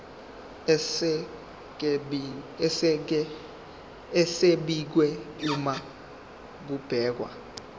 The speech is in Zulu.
esibekiwe uma kubhekwa